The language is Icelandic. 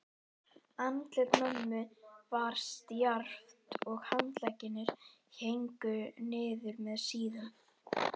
Andlit mömmu var stjarft og handleggirnir héngu niður með síðum.